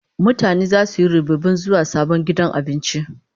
Mutane zasu yi rubibin zuwa sabon gidan abincin.